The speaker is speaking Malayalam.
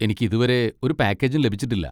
എനിക്കിതുവരെ ഒരു പാക്കേജും ലഭിച്ചിട്ടില്ല.